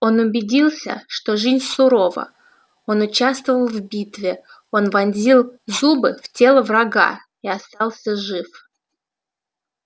он убедился что жизнь сурова он участвовал в битве он вонзил зубы в тело врага и остался жив